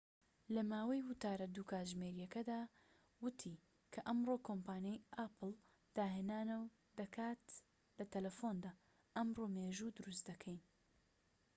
لەماوەی وتارە ٢ کاتژمێریەکەیدا، وتی کە ئەمڕۆ کۆمپانیای ئاپڵ داهێنانەوە دەکات لە تەلەفوندا، ئەمڕۆ مێژوو دروست دەکەین